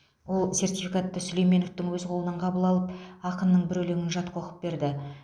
ол сертификатты сүлейменовтің өз қолынан қабыл алып ақынның бір өлеңін жатқа оқып берді